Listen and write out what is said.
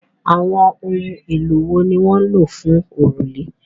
Àwọn ohun èlò wo ni wọ́n n lò fún òrùlé?